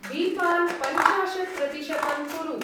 दीपान् पंचाशत्-प्रतिशतं कुरु।